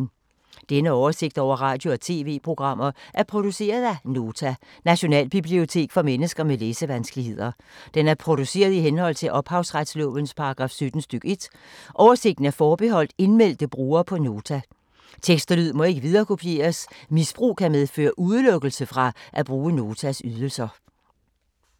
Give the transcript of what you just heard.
Denne oversigt over radio og TV-programmer er produceret af Nota, Nationalbibliotek for mennesker med læsevanskeligheder. Den er produceret i henhold til ophavsretslovens paragraf 17 stk. 1. Oversigten er forbeholdt indmeldte brugere på Nota. Tekst og lyd må ikke viderekopieres. Misbrug kan medføre udelukkelse fra at bruge Notas ydelser.